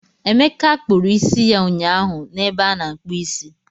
Emeka kpụrụ isi ya ụnyaahụ na ebe a na-akpụ isi